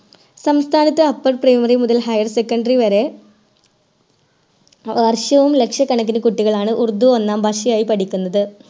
സംസ്ഥാനത്ത് Upper primary മുതൽ Higher secondary വരെ വർഷവും ലക്ഷക്കണക്കിന് കുട്ടികളാണ് ഉറുദുഒന്നാം ഭാഷയായി പഠിക്കുന്നത്